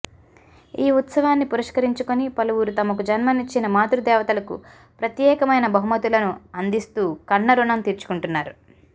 ఈ ఉత్సవాన్ని పురస్కరించుకుని పలువురు తమకు జన్మనిచ్చిన మాతృదేవతలకు ప్రత్యేకమైన బహుమతులను అందిస్తూ కన్నరుణం తీర్చుకుంటున్నారు